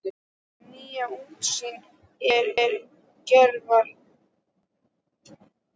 Þarna róaðist ég loksins og hef sennilega sofnað í bílnum.